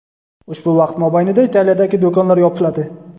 ushbu vaqt mobaynida Italiyadagi do‘konlar yopiladi.